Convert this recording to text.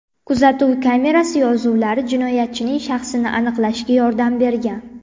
Kuzatuv kamerasi yozuvlari jinoyatchining shaxsini aniqlashga yordam bergan.